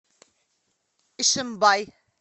ишимбай